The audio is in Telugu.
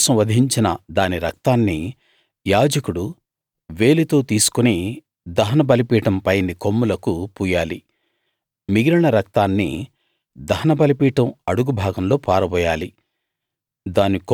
పాపం కోసం వధించిన దాని రక్తాన్ని యాజకుడు వేలితో తీసుకుని దహన బలిపీఠం పైని కొమ్ములకు పూయాలి మిగిలిన రక్తాన్ని దహన బలిపీఠం అడుగు భాగంలో పారబోయాలి